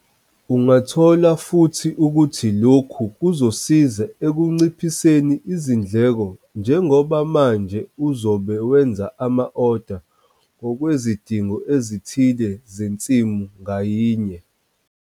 Ungathola futhi ukuthi lokhu kuzokusiza ekunciphiseni izindleko njengoba manje uzobe wenza ama-oda ngokwezidingo ezithile zensimu ngayinye.